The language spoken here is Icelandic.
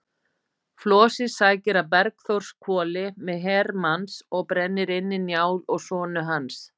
Flosi sækir að Bergþórshvoli með her manns og brennir inni Njál og sonu hans.